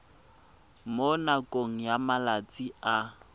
mo nakong ya malatsi a